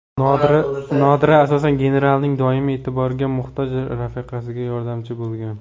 Nodira, asosan, genaralning doimiy e’tiborga muhtoj rafiqasiga yordamchi bo‘lgan.